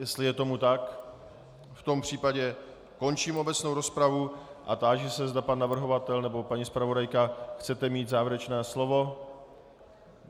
Jestli je tomu tak, v tom případě končím obecnou rozpravu a táži se, zda pan navrhovatel nebo paní zpravodajka chce mít závěrečné slovo.